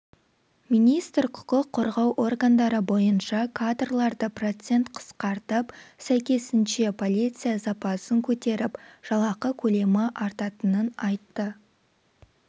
министр құқық қорғау органдары бойынша кадрларды процент қысқартып сәйкесінше полиция запасын көтеріп жалақы көлемі артатынын айтты